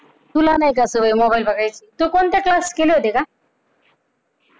तुला नाही का सवय मोबाईल बघायची? तू कोणते क्लास केले होते का?